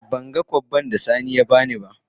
Ban gan kobbai da sani ya bani na.